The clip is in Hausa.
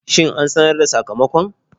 Shin an sanar da sakamakon?